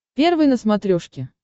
первый на смотрешке